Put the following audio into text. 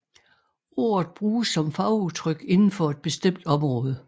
Ordet bruges som fagudtryk inden for et bestemt område